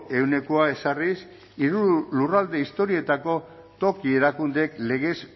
ehunekoa ezarriz hiru lurralde historikoetako toki erakundeek legez